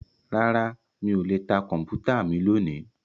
Rárá mí ò lè ta Kọ̀m̀pútà mi lónìí